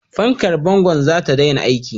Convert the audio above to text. Fankar bangon za ta daina aiki.